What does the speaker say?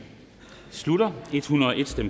slutter